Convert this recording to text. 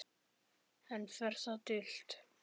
Enn fer það dult